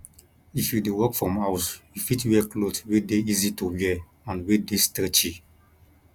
if you dey work from house you fit wear cloth wey dey easy to wear and wey dey stretchy